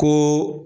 Ko